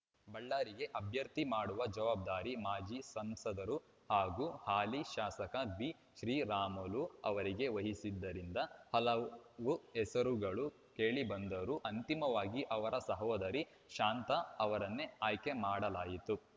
ಬಳ್ಳಾರಿಗೆ ಅಭ್ಯರ್ಥಿ ಮಾಡುವ ಜವಾಬ್ದಾರಿ ಮಾಜಿ ಸಂಸದರೂ ಆಗಿರುವ ಹಾಲಿ ಶಾಸಕ ಬಿಶ್ರೀರಾಮುಲು ಅವರಿಗೆ ವಹಿಸಿದ್ದರಿಂದ ಹಲವು ಹೆಸರುಗಳು ಕೇಳಿಬಂದರೂ ಅಂತಿಮವಾಗಿ ಅವರ ಸಹೋದರಿ ಶಾಂತಾ ಅವರನ್ನೇ ಆಯ್ಕೆ ಮಾಡಲಾಯಿತು